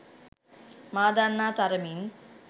මා දන්නා තරමින්